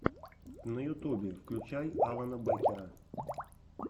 на ютубе включай алана бэкера